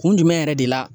Kun jumɛn yɛrɛ de la